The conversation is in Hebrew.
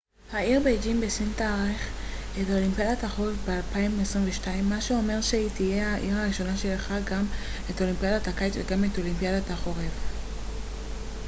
העיר בייג'ין בסין תארח את אולימפיאדת החורף ב-2022 מה שאומר שהיא תהיה העיר הראשונה שאירחה גם את אולימפיאדת הקיץ וגם את אולימפיאדת החורף